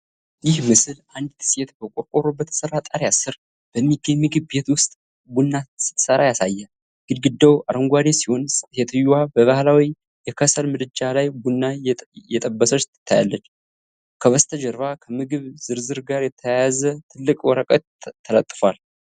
ይህ ምስል አንዲት ሴት በቆርቆሮ በተሠራ ጣሪያ ስር በሚገኝ ምግብ ቤት ውስጥ ቡና ስትሠራ ያሳያል። ግድግዳው አረንጓዴ ሲሆን፣ ሴትየዋም በባህላዊ የከሰል ምድጃ ላይ ቡና እየጠበሰች ትታያለች፤ ከበስተጀርባው ከምግብ ዝርዝር ጋር የተያያዘ ትልቅ ወረቀት ተለጥፏል።